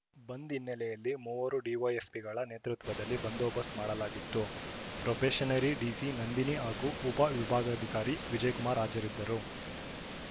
ಬಂದ್‌ ಹಿನ್ನೆಲೆಯಲ್ಲಿ ಮೂವರು ಡಿವೈಎಸ್‌ಪಿಗಳ ನೇತೃತ್ವದಲ್ಲಿ ಬಂದೋಬಸ್‌್ತ ಮಾಡಲಾಗಿತ್ತು ಪ್ರೋಬೇಷನರಿ ಡಿಸಿ ನಂದಿನಿ ಹಾಗೂ ಉಪವಿಭಾಗಾಧಿಕಾರಿ ವಿಜಯಕುಮಾರ್‌ ಹಾಜರಿದ್ದರು